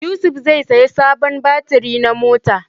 Yusuf zai saya sabon batiri na mota